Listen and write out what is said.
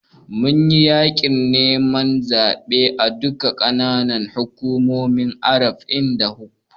Mun yi yaƙin neman zaɓe a duka ƙananan hukumomin arba'in da huɗu.